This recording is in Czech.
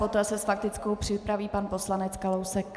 Poté se s faktickou připraví pan poslanec Kalousek.